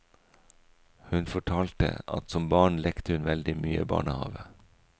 Hun fortalte at som barn lekte hun veldig mye barnehave.